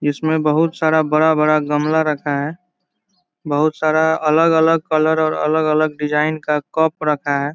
इसमें बहुत सारा बड़ा-बड़ा गमला रखा है बहुत सारा अलग-अलग कलर और अलग-अलग डिज़ाइन का कप रखा है।